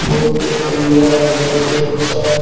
बहुत ही सुंदर है बहुत ही अच्छा है।